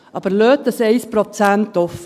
Aber lassen Sie dieses 1 Prozent offen.